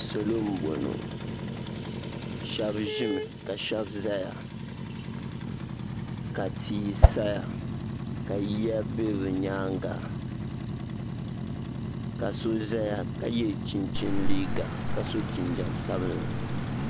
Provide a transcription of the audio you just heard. Salo n bɔŋɔ shɛba zi mi ka shɛba zaya ka tia saya ka yiya bɛ bi yɛanga ka so zaya ka yiɛ chinchini liiga ka so jinjam sabinli.